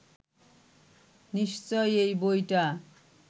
নিশ্চয়ই এই বইটা